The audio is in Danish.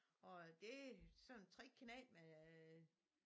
Og det sådan 3 knægte med